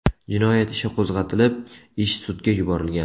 Jinoyat ishi qo‘zg‘atilib, ish sudga yuborilgan.